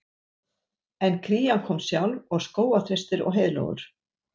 En krían kom sjálf og skógarþrestir og heiðlóur